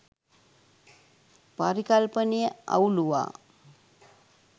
පරිකල්පනය අවුළුවා